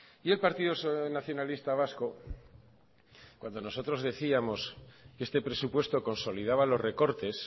y el partido nacionalista vasco cuando nosotros decíamos que este presupuesto consolidaba los recortes